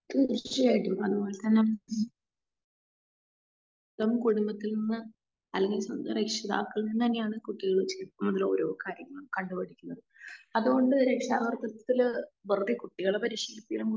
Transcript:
തീർച്ചയായിയിട്ടും അത് പോലെ തന്നെ നമുക്കൊരു ഇതിന്ന് അല്ലെങ്കിൽ രക്ഷിതാക്കളിൽ നിന്ന് തന്നെയാണ് കുട്ടികൾ ശരിക്കും ഒരൊ കാര്യങ്ങൾ കണ്ട് പഠിക്കുന്നത്. അത് കൊണ്ട് രക്ഷകർത്തത്തിൽ വെറുതെ കുട്ടികളെ സ്ഥിരം